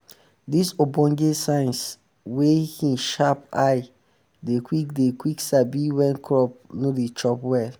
dis ogbonge science wit him sharp eye dey quick dey quick sabi wen crop no dey chop well